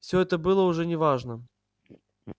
всё это было уже не важно